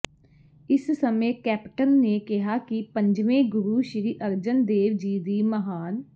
ਇਸ ਸਮੇਂ ਕੈਪਟਨ ਨੇ ਕਿਹਾ ਕਿ ਪੰਜਵੇਂ ਗੁਰੂ ਸ੍ਰੀ ਅਰਜਨ ਦੇਵ ਜੀ ਦੀ ਮਹਾਨ